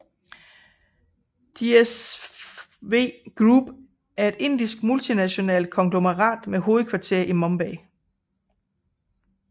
JSW Group er et indisk multinationalt konglomerat med hovedkvarter i Mumbai